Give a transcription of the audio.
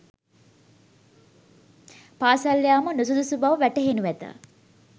පාසල් යාම නුසුදුසු බව වැටහෙනු ඇත.